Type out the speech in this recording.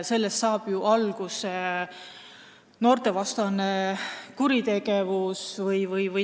Sellest saab ju alguse noorte vastu suunatud kuritegevus.